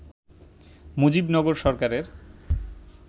মুজিবনগর সরকারের